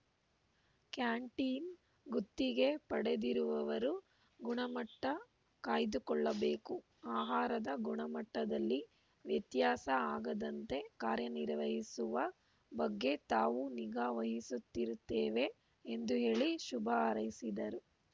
canteen ಗುತ್ತಿಗೆ ಪಡೆದಿರುವವರು ಗುಣಮಟ್ಟಕಾಯ್ದುಕೊಳ್ಳಬೇಕು ಆಹಾರದ ಗುಣಮಟ್ಟದಲ್ಲಿ ವ್ಯತ್ಯಾಸ ಆಗದಂತೆ ಕಾರ್ಯನಿರ್ವಹಿಸುವ ಬಗ್ಗೆ ತಾವೂ ನಿಗಾ ವಹಿಸುತ್ತಿರುತ್ತೇವೆ ಎಂದು ಹೇಳಿ ಶುಭ ಹಾರೈಸಿದರು